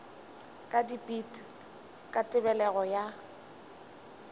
ka dipit ka tebelego ya